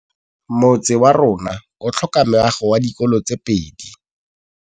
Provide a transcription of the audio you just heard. Motse warona o tlhoka meago ya dikolô tse pedi.